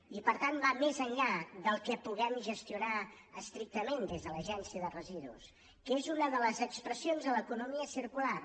i per tant va més enllà del que puguem gestionar estrictament des de l’agència de residus que és una de les expressions de l’economia circular